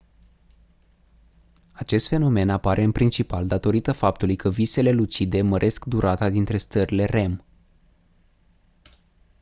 acest fenomen apare în principal datorită faptului că visele lucide măresc durata dintre stările rem